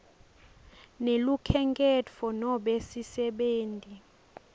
nelukhenkhetfo nobe sisebenti